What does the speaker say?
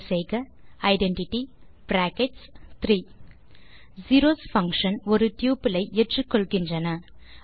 type செய்க identity brackets 3 zeros function ஒரு tuple ஐ ஏற்றுக்கொள்கின்றன